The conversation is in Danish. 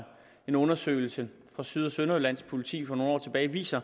en undersøgelse fra syd og sønderjyllands politi fra nogle år tilbage viste